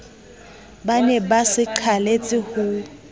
ba ne ba sebaqaleletse ho